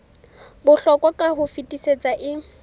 bohlokwa ka ho fetisisa e